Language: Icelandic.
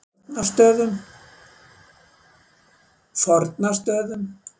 Fornastöðum